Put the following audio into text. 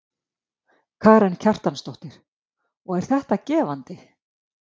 Karen Kjartansdóttir: Og er þetta gefandi?